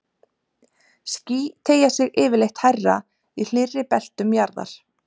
ský teygja sig yfirleitt hærra í hlýrri beltum jarðar